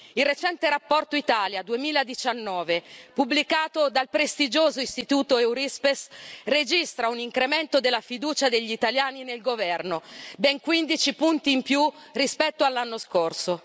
Il recente Rapporto Italia 2019, pubblicato dal prestigioso istituto Eurispes, registra un incremento della fiducia degli italiani nel governo ben quindici punti in più rispetto all'anno scorso.